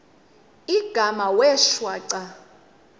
igama wee shwaca